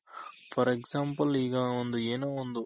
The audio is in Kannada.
for Example ಈಗ ಒಂದು ಏನೋ ಒಂದು